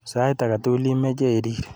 Sait age tugul imeche irir.